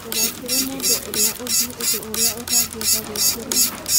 Ndũgeekĩre mũndũ ũrĩa ũngĩ ũndũ ũrĩa ũtangĩenda gwĩkĩrwo.